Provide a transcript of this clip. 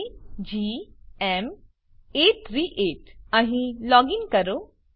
કેજીએમ838 અહીં લોગીન કરો